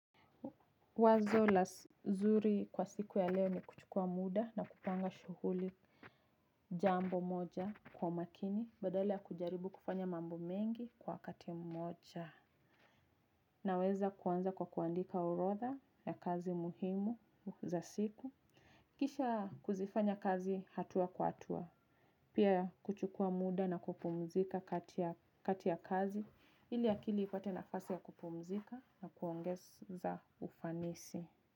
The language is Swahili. Wazo la zuri kwa siku ya leo ni kuchukua muda na kupanga shughuli jambo moja kwa makini. Badala ya kujaribu kufanya mambo mengi kwa wakati mmoja. Naweza kuanza kwa kuandika orodha ya kazi muhimu za siku. Kisha kuzifanya kazi hatua kwa hatua. Pia kuchukuwa muda na kupumzika kati ya kazi ili akili ipate nafasi ya kupumzika na kuongeza ufanisi.